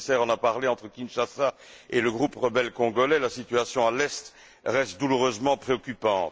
le commissaire en a parlé, entre Kinshasa et le groupe rebelle congolais, la situation à l'est reste douloureusement préoccupante.